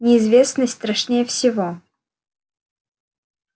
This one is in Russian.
неизвестность страшнее всего